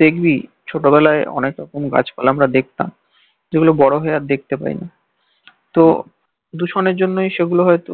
দেখবি ছোটবেলায় অনেক রকম গাছপালা আমরা দেখতাম যে গুলো বড় হয়ে আর দেখতে পাই না তো দূষণের জন্যেই সেগুলো হয়ত